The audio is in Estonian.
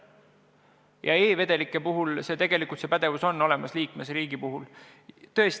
Ja e-vedelike puhul on see pädevus liikmesriikidel olemas.